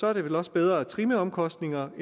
er det vel også bedre at trimme omkostningerne